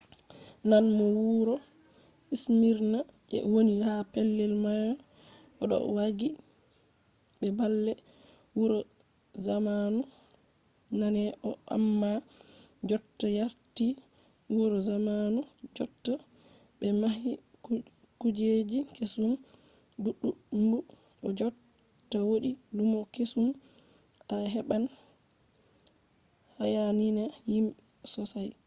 nane no wuro smirna je woni ha pellel mayo ɗo waagi be baalle wuro zamanu nane on amma jotta warti wuro zamanu jotta ɓe mahi kujeji kesum ɗuɗɗumb o jotta wodi lumo kesum a heɓan hayaniya himɓe sosai